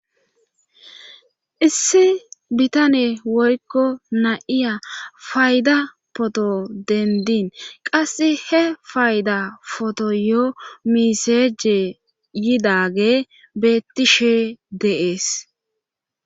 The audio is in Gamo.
Issi bitane woykko na7iya fayda poto dendin qasse he fayda foto yoo miseje yidage beettishe deees